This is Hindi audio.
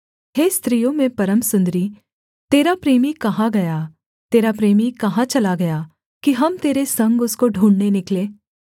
हे स्त्रियों में परम सुन्दरी तेरा प्रेमी कहाँ गया तेरा प्रेमी कहाँ चला गया कि हम तेरे संग उसको ढूँढ़ने निकलें